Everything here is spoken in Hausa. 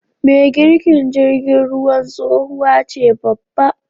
me girkin jirgin ruwan tsohuwace babba